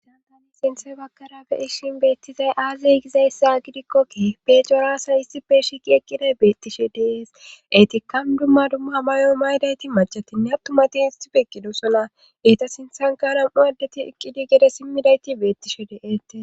Satani sinthe bakkara beyishin beettizay aazeygizayssa gidikkokki pecoraasa issipe shiqi eqqiday beettishe deees eytikkan dumma dumma mayo maydayti machatinne attumati istife ekidosona ita sinthankaram'u addeti eqqidi gede simmidayti beettishe de'eete.